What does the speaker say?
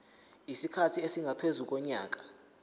isikhathi esingaphezu konyaka